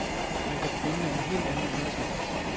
Man kan begynde med en helt anden undertekst.